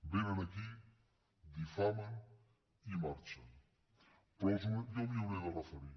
vénen aquí difamen i marxen però jo m’hi hauré de referir